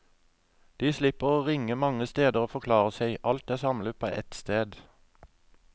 De slipper å ringe mange steder og forklare seg, alt er samlet på ett sted.